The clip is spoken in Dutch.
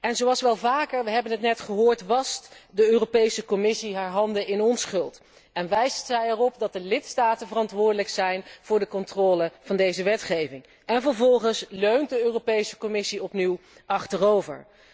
En zoals vaker we hebben het net gehoord wast de Commissie haar handen in onschuld en wijst zij erop dat de lidstaten verantwoordelijk zijn voor de controle van deze wetgeving, en vervolgens leunt de Commissie opnieuw achterover.